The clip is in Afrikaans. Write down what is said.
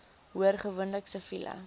hoor gewoonlik siviele